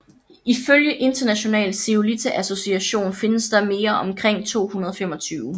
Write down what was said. Ifølge International Zeolite Association findes der mere omkring 225